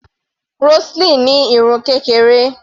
Roseline ní irun kékeré.